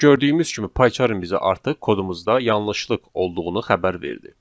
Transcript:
Gördüyümüz kimi PyCharm-ın bizi artıq kodumuzda yanlışlıq olduğunu xəbər verdi.